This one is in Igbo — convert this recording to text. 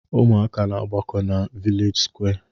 Ụmụaka na-aagbakọ na vilej sụkwé.